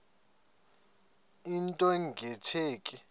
into nge tsheki